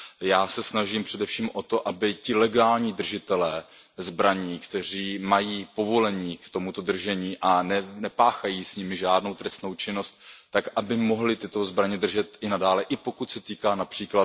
Já se snažím především o to, aby ti legální držitelé zbraní, kteří mají povolení k tomuto držení a nepáchají s nimi žádnou trestnou činnost, tak aby mohli tyto zbraně držet i nadále, i pokud se týká např.